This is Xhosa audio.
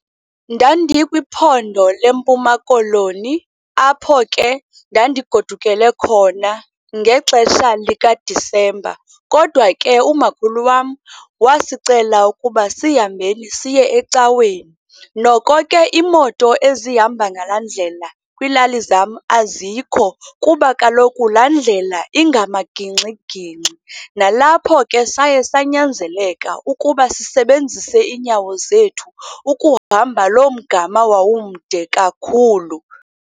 Ndandikwiphondo leMpuma Koloni apho ke ndandigodukele khona ngexesha likaDisemba. Kodwa ke, umakhulu wam wasicela ukuba sihambeni siye ecaweni. Noko ke imoto ezihamba ngalaa ndlela kwiilali zam azikho, kuba kaloku laa ndlela ingamagingxigingxi. Nalapho ke saye sanyanzeleka ukuba sisebenzise iinyawo zethu ukuhamba loo mgama wawumde kakhulu.